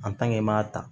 i m'a ta